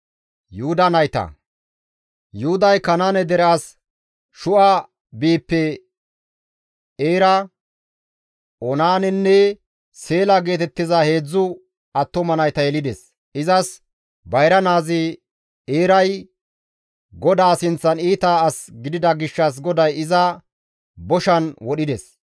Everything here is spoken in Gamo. Yuhuday Kanaane dere as Shu7a biype Eera, Oonaanenne Seela geetettiza heedzdzu attuma nayta yelides; izas bayra naazi Eeray GODAA sinththan iita as gidida gishshas GODAY iza boshan wodhides.